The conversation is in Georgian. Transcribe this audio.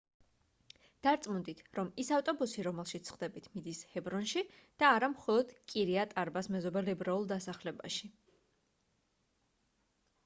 დარწმუნდით რომ ის ავტობუსი რომელშიც სხდებით მიდის ჰებრონში და არა მხოლოდ კირიატ-არბას მეზობელ ებრაულ დასახლებაში